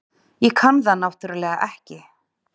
Ég kann það náttúrlega ekki.